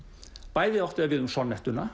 bæði átti það við um